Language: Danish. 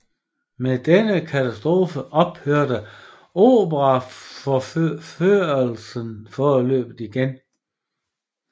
Med denne katastrofe ophørte operaopførelserne foreløbig igen